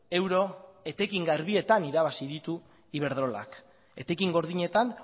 euro etekin garbietan irabazi ditu iberdrolak etekin gordinetan